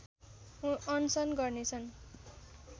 अनसन गर्नेछन्